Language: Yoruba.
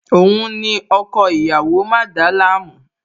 Òun ni ọkọ ìyàwó, má dàálàmú!